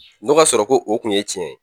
N'o k'a sɔrɔ ko o kun ye cɛn ye.